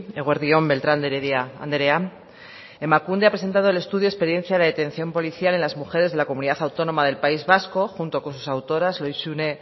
eguerdi on beltrán de heredia andrea emakunde ha presentado el estudio experiencia de la detención policial en las mujeres de la comunidad autónoma del país vasco junto con sus autoras lohizune